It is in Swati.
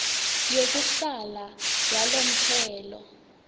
yekuhlala yalomphelo